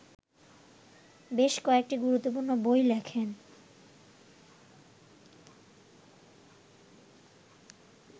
বেশ কয়েকটি গুরুত্বপূর্ণ বই লেখেন